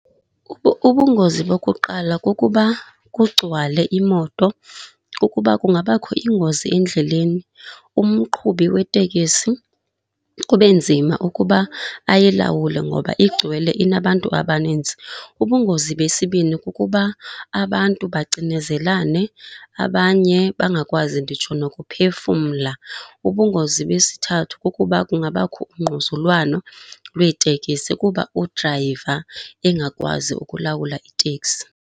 Ubungozi bokuqala kukuba kugcwale imoto kukuba kungabakho ingozi endleleni, umqhubi wetekisi kube nzima ukuba ayilawule ngoba igcwele inabantu abaninzi. Ubungozi besibini kukuba abantu bacinezelane, abanye bangakwazi nditsho nokuphefumla. Ubungozi besithathu kukuba kungabakho ungquzulwano lweetekisi kuba udrayiva engakwazi ukulawula iteksi.